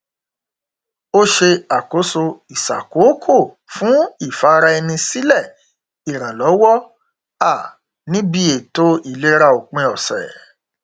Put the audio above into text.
ó ṣe àkóso ìṣàkòókò fún ìfara ẹni sílẹ ìrànlọwọ um níbi ètò ìlera òpin ọsẹ